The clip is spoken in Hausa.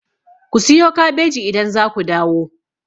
Ku siyo kabeji idan za ku dawo!